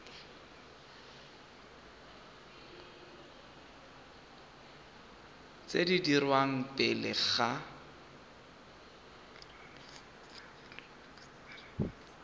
tse di dirwang pele ga